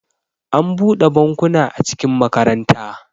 an bude bankuna a cikin makaranta